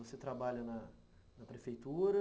Você trabalha na prefeitura...